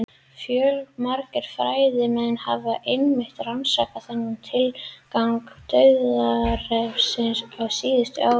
Fjölmargir fræðimenn hafa einmitt rannsakað þennan tilgang dauðarefsinga á síðustu áratugum.